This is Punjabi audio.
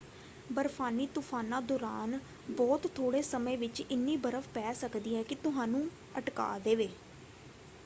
ਬਰਫ਼ਾਨੀ ਤੁਫ਼ਾਨਾਂ ਦੌਰਾਨ ਬਹੁਤ ਥੋੜ੍ਹੇ ਸਮੇਂ ਵਿੱਚ ਇੰਨੀ ਬਰਫ਼ ਪੈ ਸਕਦੀ ਹੈ ਕਿ ਤੁਹਾਨੂੰ ਅਟਕਾ ਦੇਵੇ।